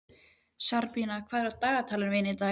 Sabrína, hvað er í dagatalinu mínu í dag?